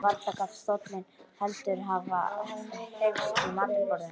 Varla gat stóllinn heldur hafa hreyfst í matarboðinu.